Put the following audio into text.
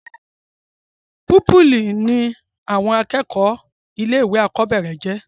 púpìlì ní àwọn akẹ́kọ̀ọ́ ilé ìwé àkọ́bẹ̀rẹ̀ ńjẹ́